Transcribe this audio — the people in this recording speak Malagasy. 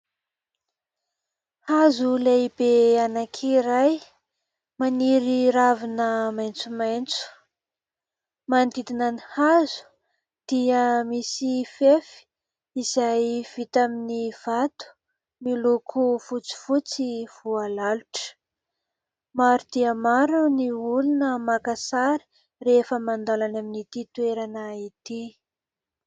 Hazo lehibe anankiray maniry ravina maitsomaitso, manodidina ny hazo dia misy fefy izay vita amin'ny vato miloko fotsifotsy voalalotra. Maro dia maro ny olona maka sary rehefa mandalo any amin'ity toerana ity.